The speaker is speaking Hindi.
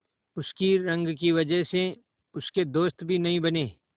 उसकी रंग की वजह से उसके दोस्त भी नहीं बने